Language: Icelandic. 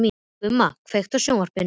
Gumma, kveiktu á sjónvarpinu.